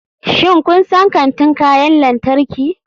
Shin kun san kantin kayan lantarki?